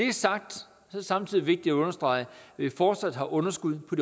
er sagt er det samtidig vigtigt at understrege at vi fortsat har underskud på